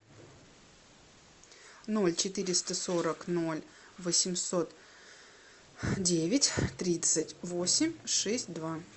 ноль четыреста сорок ноль восемьсот девять тридцать восемь шесть два